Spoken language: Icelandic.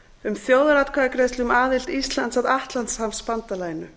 um þjóðaratkvæðagreiðslu um aðild íslands að atlantshafsbandalaginu